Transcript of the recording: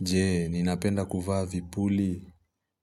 Jee, ninapenda kuvaa vipuli?